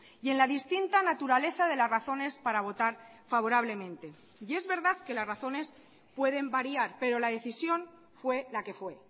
y en la distinta naturaleza de las razones para votar favorablemente y es verdad que las razones pueden variar pero la decisión fue la que fue